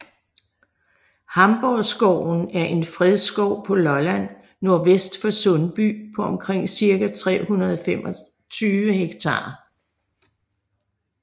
Hamborgskoven er en fredskov på Lolland nordvest for Sundby på omkring 325 ha